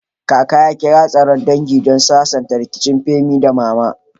Kaka ya kira taron dangi don sasanta rikicin Femi da Mama.